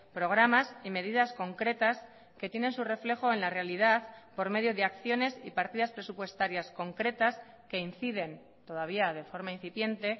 programas y medidas concretas que tienen su reflejo en la realidad por medio de acciones y partidas presupuestarias concretas que inciden todavía de forma incipiente